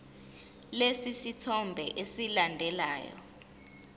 lesi sithombe esilandelayo